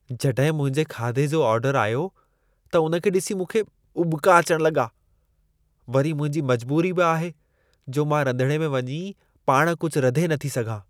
जॾहिं मुंहिंजे खाधी जो ऑर्डर आयो, त उन खे ॾिसी मूंखे उॿिका अचण लॻा। वरी मुंहिंजी मजबूरी बि आहे जो मां रंधिणे में वञी पाण कुझु रधे नथी सघां।